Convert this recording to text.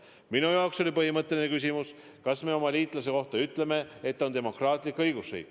Minu jaoks oli põhimõtteline küsimus, kas me oma liitlase kohta ütleme, et ta on demokraatlik õigusriik.